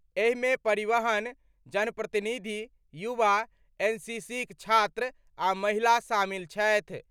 एहिमे परिवहन, जनप्रतिनिधि, युवा, एनसीसीक छात्र आ महिला शामिल छथि।